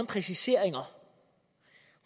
præciseringer